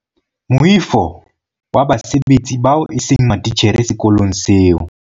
Moifo wa basebetsi bao eseng matitjhere sekolong seo.